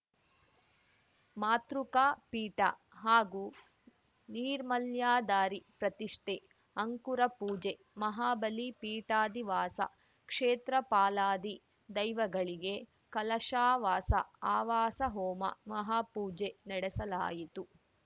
ಮಾತೃಕಾಪೀಠ ಹಾಗು ನೀರ್ಮಾಲ್ಯಧಾರಿ ಪ್ರತಿಷ್ಠೆ ಅಂಕುರಪೂಜೆ ಮಹಾಬಲಿಪೀಠಾದಿವಾಸ ಕ್ಷೇತ್ರಪಾಲಾದಿ ದೈವಗಳಿಗೆ ಕಲಶಾವಾಸ ಅವಾಸ ಹೋಮ ಮಹಾಪೂಜೆ ನಡೆಸಲಾಯಿತು